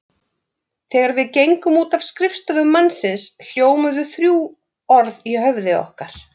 Þegar við gengum út af skrifstofu mannsins hljómuðu þrjú orð í höfði okkar.